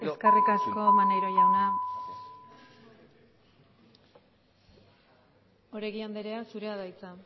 eskerrik asko maneiro jauna oregi andrea zurea da hitza